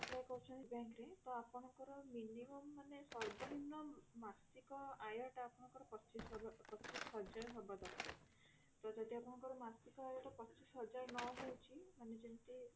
apply କରିଛନ୍ତି bank ରେ ତ ଆପଣଙ୍କର minimum ମାନେ ସର୍ବନିମ୍ନ ମାସିକ ଆୟ ଟା ଆପଣଙ୍କର ପଚିଶ ପଚିଶ ହଜାର ହବ ଦରକାର ତ ଯଦି ଆପଣଙ୍କର ମାସିକ ଆୟ ଟା ପଚିଶ ହଜାର ନ ହଉଛି ମାନେ ଯେମିତି